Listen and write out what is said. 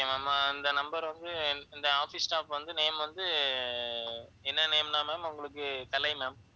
okay ma'am இந்த number வந்து இந்த office staff வந்து name வந்து என்ன name ன்னா ma'am உங்களுக்கு கலை ma'am